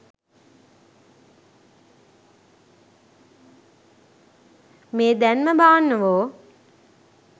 මෙ දැන්ම බාන්නවෝ